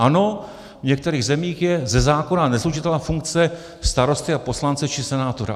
Ano, v některých zemích je ze zákona neslučitelná funkce starosty a poslance či senátora.